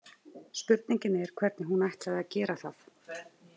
Spurningin er hvernig hún ætlaði að gera það.